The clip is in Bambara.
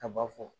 A b'a fɔ